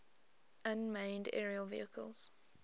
unmanned aerial vehicles